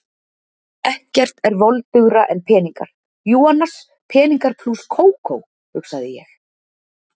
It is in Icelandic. Ekkert er voldugra en peningar, jú annars, peningar plús Kókó, hugsaði ég.